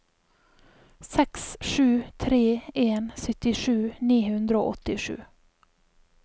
seks sju tre en syttisju ni hundre og åttisju